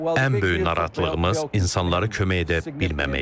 Ən böyük narahatlığımız insanlara kömək edə bilməməkdir.